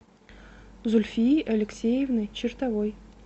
зульфии алексеевны чертовой